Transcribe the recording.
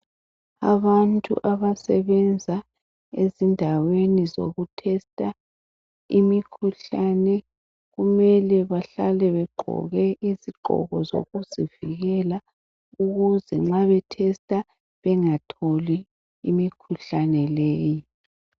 Abantu abasebenza ezindaweni zokutester imikhuhlane. Kumele behlale begqoke izigqoko zokuzivikela. Ukuze nxa betester bengatholi imkhuhlane leyi .